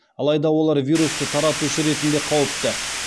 алайда олар вирусты таратушы ретінде қауіпті